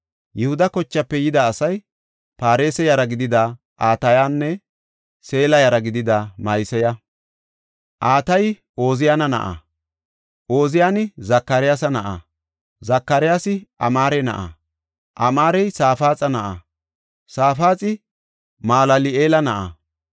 Yihuda kochaafe yida asay Paaresa yara gidida Atayanne Seela yara gidida Ma7iseya. Atayi Ooziyana na7a; Ooziyani Zakaryaasa na7a; Zakaryaasi Amaare na7a; Amaarey Safaaxa na7a; Safaaxi Malal7eela na7a.